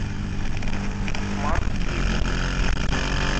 маркиза